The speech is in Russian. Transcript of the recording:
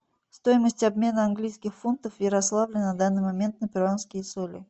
стоимость обмена английских фунтов в ярославле на данный момент на перуанские соли